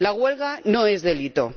La huelga no es delito.